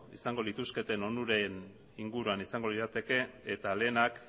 izango lituzketen onuren inguruan izango lirateke eta lehenak